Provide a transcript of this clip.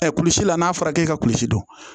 kulisi la n'a fɔra k'e ka kurusi dun